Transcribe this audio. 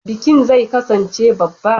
Bikin zai kasance babba.